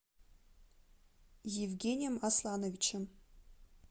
евгением аслановичем